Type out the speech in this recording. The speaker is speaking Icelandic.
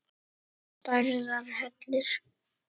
Stærðar hellir?